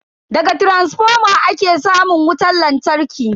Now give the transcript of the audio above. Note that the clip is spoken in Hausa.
Daga taransifoma ake samun wutan lantarki.